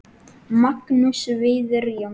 Magnús Víðir Jónsson